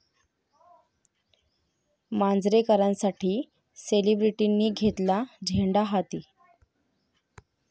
मांजरेकरांसाठी सेलिब्रिटींनी घेतला झेंडा हाती!